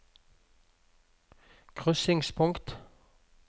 krysningspunkt